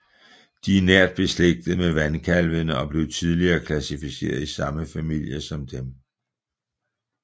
De er nært beslægtede med vandkalvene og blev tidligere klassificeret i samme familie som dem